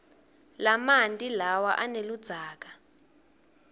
lamanti lawa aneludzaka